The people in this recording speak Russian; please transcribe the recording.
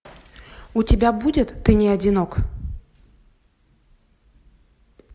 у тебя будет ты не одинок